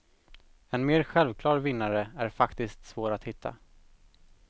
En mer självklar vinnare är faktiskt svår att hitta.